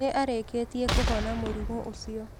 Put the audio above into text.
Nĩ arĩkĩtie kũhona mũrimũ ũcio.